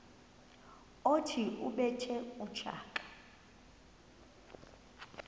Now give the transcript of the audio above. othi ubethe utshaka